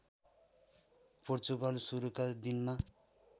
पोर्चुगल सुरुका दिनमा